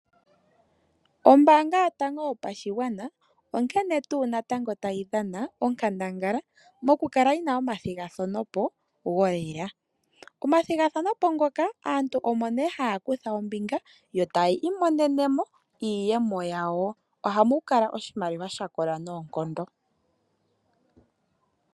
Ombaanga yotango yopashigwana onkene tuu natango tayi dhana onkandangala mokukala yi na omathigathano golela. Momathigathano ngoka aantu omo nee haya kutha ombinga yo tayi imonene mo iiyemo yawo. Ohamu kala oshimaliwa sha kola noonkondo.